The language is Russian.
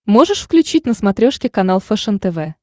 можешь включить на смотрешке канал фэшен тв